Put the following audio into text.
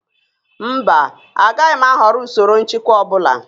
Mba, agaghị m ahọrọ usoro nchịkwa ọ bụla